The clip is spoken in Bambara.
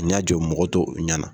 K'u ɲɛ jɔ mɔgɔ tɔw ɲɛ na.